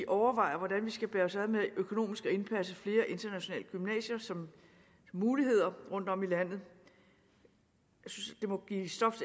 overvejer hvordan vi skal bære os ad økonomisk med at indpasse flere internationale gymnasier som muligheder rundtom i landet jeg synes det må give stof